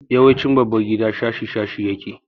Yawancin babbar gida shashi shashi yake.